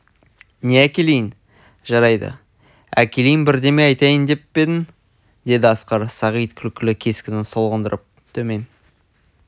не әкелейін жарайды әкелейін бірдеме айтайын деп пе едің деді асқар сағит күлкілі кескінін солғындырып төмен